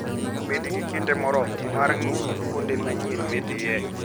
Bed gi kinde moromo mar ng'iyo gi kuonde manyien midhiye.